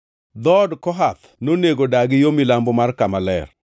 Dhood Kohath nonego dagi yo milambo mar kama ler.